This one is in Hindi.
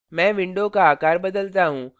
मैं window का आकार बदलता हूँ